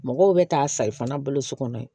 Mɔgɔw bɛ taa sayi fana baloso kɔnɔ yen